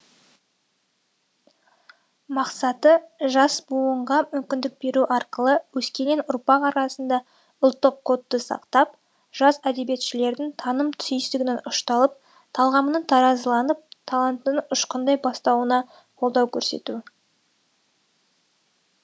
мақсаты жас буынға мүмкіндік беру арқылы өскелең ұрпақ арасында ұлттық кодты сақтап жас әдебиетшілердің таным түйсігінің ұшталып талғамының таразыланып талантының ұшқындай бастауына қолдау көрсету